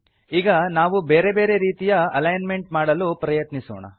ಈಗ ನಾವು ಬೇರೆ ಬೇರೆ ರೀತಿಯ ಅಲಿಗ್ನ್ಮೆಂಟ್ ಮಾಡಲು ಪ್ರಯತ್ನಿಸೋಣ